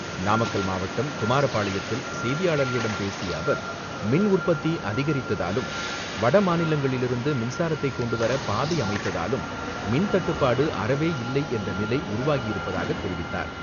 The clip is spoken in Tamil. நாமக்கல் மாவட்டம், குமாரப்பாளையத்தில் செய்தியாளர்களிடம் பேசிய அவர், மின் உற்பத்தி அதிகரிக்கப்பட்டதாலும், வட மாநிலங்களிலிருந்து மின்சாரம் கொண்டு வர பாதை அமைக்கப்பட்டதாலும், மின் தட்டுப்பாடு அறவே இல்லை என்ற நிலை உருவாகியிருப்பதாக தெரிவித்தார்.